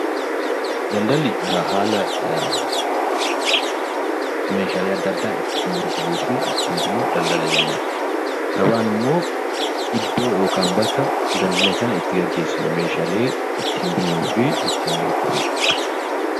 Daldalli haala meeshaalee adda addaa ittiin gurguruu fi ittiin bitnu 'Daldala' jennaan. Gabaan immoo iddoo yookaan bakka ddldala kana itti geggeessinu, meeshaalee ittiin bitnuu fi ittiin gurgurru dhq.